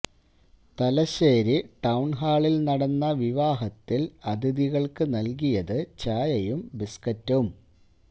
Thalassery town ഹാളില് നടന്ന വിവാഹത്തില് അതിഥികള്ക്ക് നല്കിയത് ചായയും ബിസ്കറ്റും